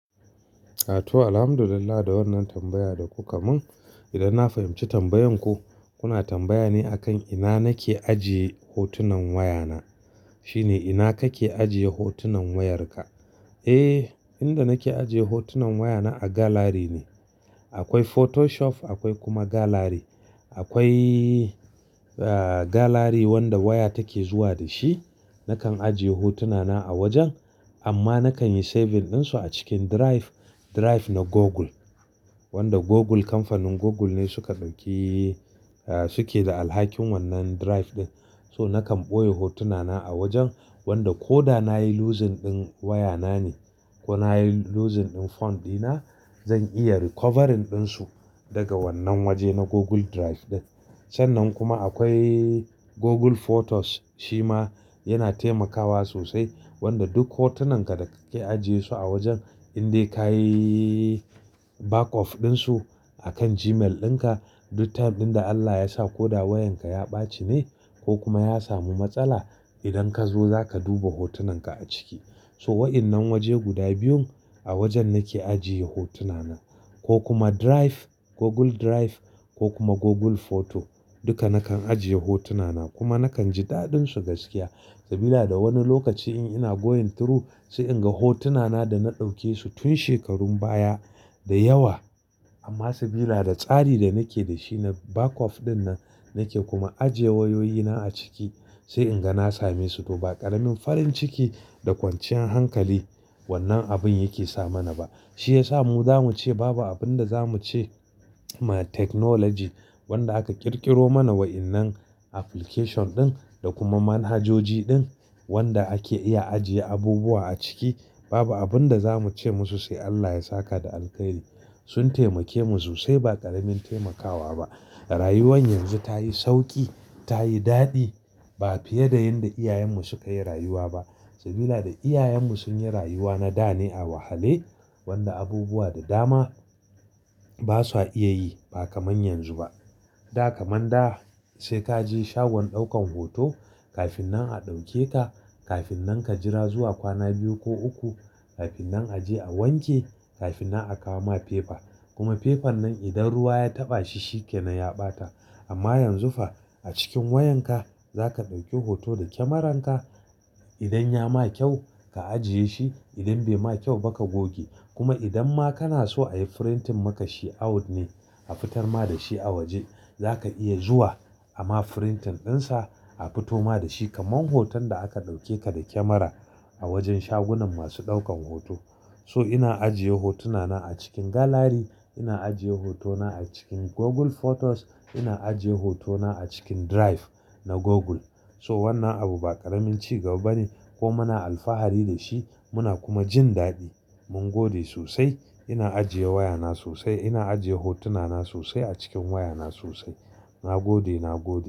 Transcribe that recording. A to Alhamdulillah da wannan tambaya da kuka mun. Idan na fahimci tambayan ku, kuna tambaya ne akan ina nake ajiye hotunan wayana. Shine ina kake ajiye hotunan wayarka? Eh, inda nake ajiye hotunan wayana a gallery ne. Akwai Photoshop akwai kuma gallery. Akwai, ah, gallery wanda waya take zuwa da shi. Nakan ajiye hotunana a wajen amma nakan yi saving ɗinsu a cikin drive. Drive na Google. Wanda Google kamfanin Google ne su ka ɗauki, ah, suke da alhakin wannan drive ɗin. So nakan ɓoye hotunana a wajen wanda ko da na yi losing ɗin wayana ne ko na yi losing ɗin phone ɗina, zan iya recovering ɗinsu daga wannan waje na Google Drive ɗin. Sannan kuma akwai Google Photos shi ma yana taimakawa sosai. Wanda duk hotunan ka da kake ajiye su a wajen in dai ka yi backup ɗinsu akan Gmail ɗinka, duk time ɗin da Allah ya sa ko da wayanka ya ɓaci ne ko kuma ya samu matsala idan ka zo za ka duba hotunan ka a ciki. So wa'innan waje guda biyun a wajen nake ajiye hotunana. Ko kuma Drive, Google Drive ko kuma Google Photo duka nakan ajiye hotunana kuma nakan ji daɗin su gaskiya. Sabila da wani lokaci in ina going through sai in ga hotunana da na ɗauke su tun shekarun baya da yawa. Amma sabila da tsari da nake da shi na backup ɗin nan nake kuma ajiye wayoyina a ciki sai in ga na same su. To ba ƙaramin farin ciki da kwanciyan hankali wannan abin yake sa mana ba. Shi ya sa mu zamu ce babu abin da zamu ce ma technology wanda aka ƙirƙiro mana wa'innan application ɗin da kuma manhajoji ɗin wanda ake iya ajiye abubuwa a ciki. Babu abin da zamu ce musu sai Allah ya saka da alkhairi. Sun taimake mu sosai ba ƙaramin taimakawa ba. Rayuwan yanzu ta yi sauƙi, ta yi daɗi ba fiye da yadda iyayenmu sukayi rayuwa ba. Sabida da iyayenmu sun yi rayuwa na da ne a wahale. Wanda abubuwa da dama ba sa iya yi ba kaman yanzu ba. Da kaman da sai ka je shagon ɗaukan hoto kafin nan a ɗauke ka. Kafin nan ka jira zuwa kwana biyu ko uku. Kafin nan a je a wanke. Kafin nan a kawo ma paper. Kuma paper nan idan ruwa ya taɓa shi shi kenan ya ɓata. Amma yanzu fa a cikin wayanka za ka ɗauki hoto da kamaranka. Idan ya ma kyau ka ajiye shi, idan bai ma kyau ba ka goge. Kuma idan ma kana so a yi printing maka shi out ne. A fitar ma da shi a waje. Za ka iya zuwa amma printing ɗinsa a fito ma da shi kaman hoton da aka ɗauke ka da kamara a wajen shagunan masu ɗaukan hoto. So ina ajiye hotunana a cikin gallery. Ina ajiye hotona a cikin Google Photos. Ina ajiye hotona a cikin Drive na Google. So wannan abu ba ƙaramin ci gaba bane kuma muna alfahari da shi muna kuma jin daɗi. Mun gode sosai. Ina ajiye wayana sosai, ina ajiye hotunana sosai a cikin wayana sosai. Na gode, na gode.